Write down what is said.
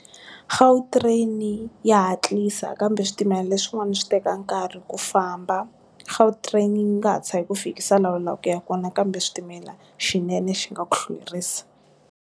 Gautrain ya hatlisa kambe switimela leswin'wana swi teka nkarhi ku famba. Gautrain nga hatlisa yi ku fikisa la u lavaku ku ya kona kambe switimela xinene xi nga ku hlwerisa.